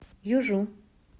южу